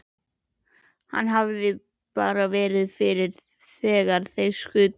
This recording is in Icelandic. Hann hefði bara verið fyrir þegar þeir skutu.